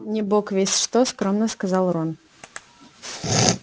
не бог весть что скромно сказал рон